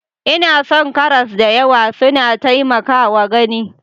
Ina son karas da yawa, suna taimakawa gani.